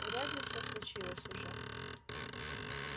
вряд ли всё случилось уже